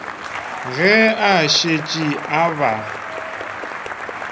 ge a šetše a ba